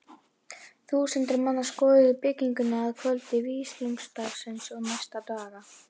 Þúsundir manna skoðuðu bygginguna að kvöldi vígsludagsins og næstu daga.